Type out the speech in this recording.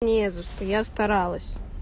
не за что я старалась